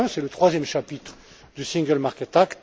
Et enfin, c'est le troisième chapitre du single market act